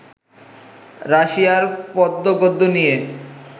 রাশিয়ায় পদ্য-গদ্য নিয়ে